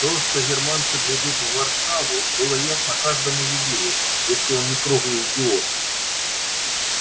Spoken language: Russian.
то что германцы придут в варшаву было ясно каждому еврею если он не круглый идиот